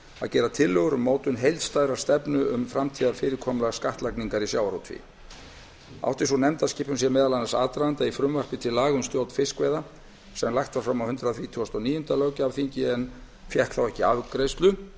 að gera tillögur um mótun heildstæðrar stefnu um framtíðarfyrirkomulag skattlagningar í sjávarútvegi átti sú nefndaskipan sér meðal annars aðdraganda í frumvarpi til laga um stjórn fiskveiða sem lagt var fram á hundrað þrítugasta og níunda löggjafarþingi en fékk þá ekki afgreiðslu